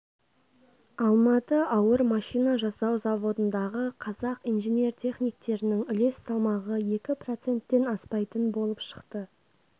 алматы ауыр машина жасау заводындағы қазақ инженер-техниктернң үлес салмағы екі проценттен аспайтын болып шықты